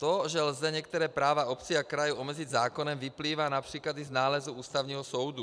To, že lze některá práva obcí a krajů omezit zákonem, vyplývá například i z nálezu Ústavního soudu.